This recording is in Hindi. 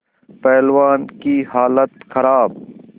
पहलवान की हालत खराब